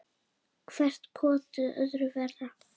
Hvert kotið öðru verra.